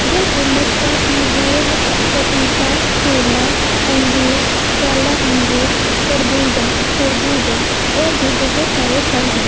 जैसे नशपाती बेल पपीता केला अंगूर काला अंगूर तरबूजा खरबूजा और भी बहोत सारे फल हैं।